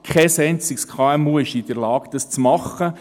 Kein einziges KMU ist in der Lage, das zu machen.